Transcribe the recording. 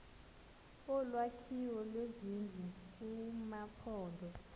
olwakhiwo lwezindlu kumaphondo